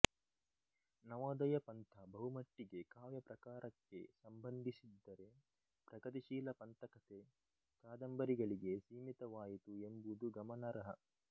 ನವೋದಯ ಪಂಥ ಬಹುಮಟ್ಟಿಗೆ ಕಾವ್ಯ ಪ್ರಕಾರಕ್ಕೆ ಸಂಬಂಧಿಸಿದ್ದರೆ ಪ್ರಗತಿಶೀಲ ಪಂಥಕತೆ ಕಾದಂಬರಿಗಳಿಗೆ ಸೀಮಿತವಾಯಿತು ಎಂಬುದು ಗಮನಾರ್ಹ